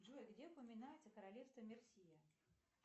джой где упоминается королевство мерсия